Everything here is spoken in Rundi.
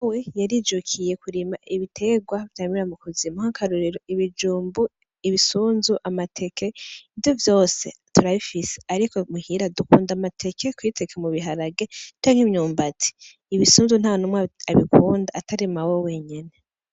Yarijukiye kurima ibitegwa vyamira mu kuzimu nk'akarorero, ibijumbu, ibisunzu, amateke ivyo vyose turabifise ariko muhira dukunda amateke kubiteka mu biharage canke imyumbati, ibisunzu ntanumwe abikunda atari mawe wenyene.